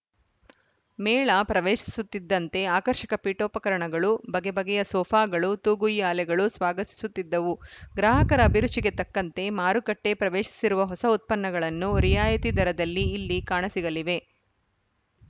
ಮೇಳ ಪ್ರವೇಶಿಸುತ್ತಿದ್ದಂತೆ ಆಕರ್ಷಕ ಪೀಠೋಪಕರಣಗಳು ಬಗೆಬಗೆಯ ಸೋಫಾಗಳು ತೂಗುಯ್ಯಾಲೆಗಳು ಸ್ವಾಗತಿಸುತ್ತಿದ್ದವು ಗ್ರಾಹಕರ ಅಭಿರುಚಿಗೆ ತಕ್ಕಂತೆ ಮಾರುಕಟ್ಟೆಪ್ರವೇಶಿಸಿರುವ ಹೊಸ ಉತ್ಪನ್ನಗಳನ್ನು ರಿಯಾಯಿತಿ ದರದಲ್ಲಿ ಇಲ್ಲಿ ಕಾಣಸಿಗಲಿವೆ